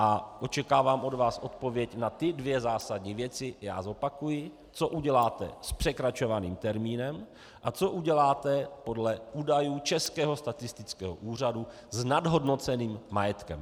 A očekávám od vás odpověď na ty dvě zásadní věci - já zopakuji: co uděláte s překračovaným termínem a co uděláte podle údajů Českého statistického úřadu s nadhodnoceným majetkem.